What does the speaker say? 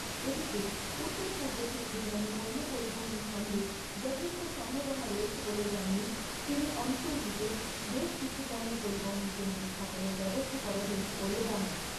এদিকে উত্তর পূর্ব থেকে বিমানে পণ্য পরিবহন খণ্ডে যথেষ্ট সম্ভাবনা রয়েছে বলে জানিয়ে তিনি অঞ্চলটিতে বেশ কিছু পণ্য পরিবহন কেন্দ্র স্থাপনের ব্যবস্থা করা হয়েছে বলে জানান।